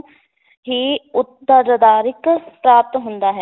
ਹੀ ਪ੍ਰਾਪਤ ਹੁੰਦਾ ਹੈ।